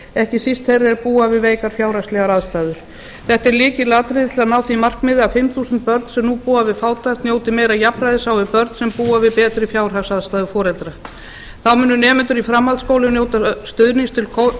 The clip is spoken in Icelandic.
ekki síst þeirra er búa við veikar fjárhagslegar aðstæður þetta er lykilatriði til þess að ná því markmiði að fimm þúsund börn sem nú búa við fátækt njóti meira jafnræðis á við börn sem búa við betri fjárhagsaðstæður foreldra þá munu nemendur í framhaldsskólum njóta stuðnings til